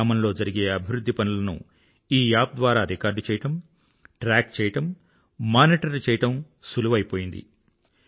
గ్రామంలో జరిగే అభివృధ్ధి పనులను ఈ యాప్ ద్వారా రికార్డ్ చేయడం ట్రాక్ చేయడం మానిటర్ చేయడం సులువైపోయింది